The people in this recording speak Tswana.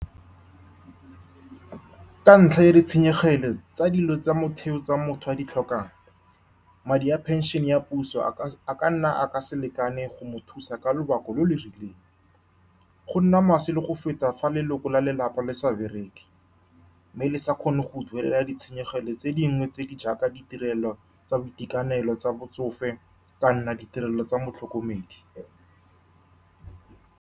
Ka ntlha ya ditshenyegelo tsa dilo tsa motheo tse motho a di tlhokang, madi a pension-e ya puso a ka nna a se lekane go mo thusa ka lobaka lo lo rileng. Go nna maswe le go feta fa leloko la lelapa le sa bereke mme le sa kgone go duelela ditshenyegelo tse dingwe tse di jaaka ditirelo tsa boitekanelo tsa botsofe kana ditirelo tsa motlhokomedi.